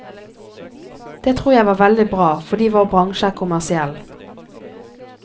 Det tror jeg var veldig bra, fordi vår bransje er kommersiell.